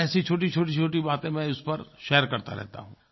और ऐसी छोटीछोटीछोटी बातें मैं उस पर शेयर करता रहता हूँ